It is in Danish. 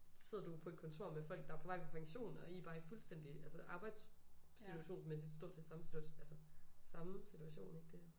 Sidder du jo på et kontor med folk der er på vej på pension og i er bare i fuldstændig altså arbejdssituations mæssig stort set samme altså samme situation ikke det